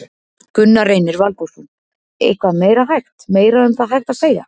Gunnar Reynir Valþórsson: Eitthvað meira hægt, meira um það hægt að segja?